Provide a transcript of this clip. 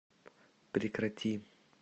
прекрати